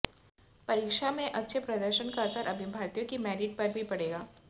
परीक्षा में अच्छे प्रदर्शन का असर अभ्यर्थियों की मेरिट पर भी पड़ेगा